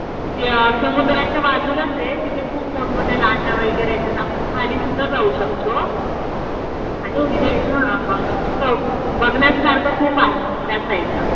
त्या समुद्राच्या बाजूलाच आहे. तिथे खूप मोठमोठ्या लाटा वगैरे येतात. आपण खाली सुद्धा जाऊ शकतो. आणि तिथे बघण्यासारखं खूप आहे त्या साईडला.